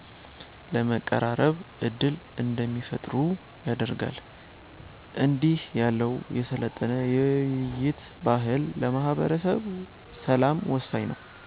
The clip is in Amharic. ለመቀራረብ ዕድል እንዲፈጥሩ ያደርጋል። እንዲህ ያለው የሰለጠነ የውይይት ባህል ለማህበረሰብ ሰላም ወሳኝ ነው።